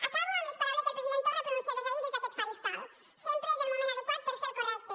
acabo amb les paraules del president torra pronunciades ahir des d’aquest faristol sempre és el moment adequat per fer el correcte